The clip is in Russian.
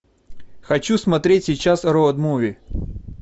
хочу смотреть сейчас роуд муви